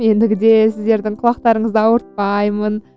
ендігіде сіздердің құлақтарыңызды ауыртпаймын